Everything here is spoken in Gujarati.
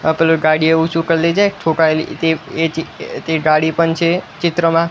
આ પેલું ગાડી એવું છે ઠોકાયેલી તે એ જ તે ગાડી પણ છે ચિત્રમાં.